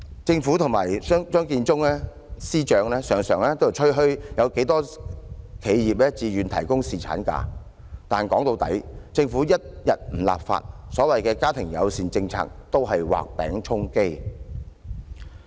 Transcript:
政府及張建宗司長常常吹噓有多少企業自願提供侍產假，但說到底，政府一天不立法，所謂"家庭友善政策"都只是畫餅充飢。